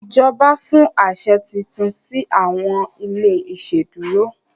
ìjọba fún aṣẹ títún si awọn ilé iṣeduro.